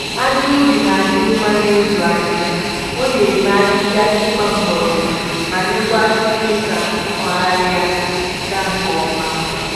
Aja ubi na-adị mma na-ịzụ ahịhịa. O na-eme ahịhịa ịgba mgbọrọgwụ ma nyekwa aka ime ka nkụgharị gaa nke ọma